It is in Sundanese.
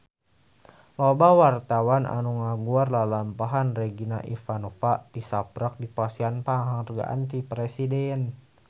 Loba wartawan anu ngaguar lalampahan Regina Ivanova tisaprak dipasihan panghargaan ti Presiden